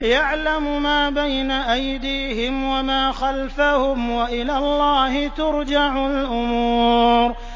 يَعْلَمُ مَا بَيْنَ أَيْدِيهِمْ وَمَا خَلْفَهُمْ ۗ وَإِلَى اللَّهِ تُرْجَعُ الْأُمُورُ